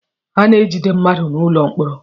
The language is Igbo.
A na-ejide mmadụ n'ụlọ mkpọrọ.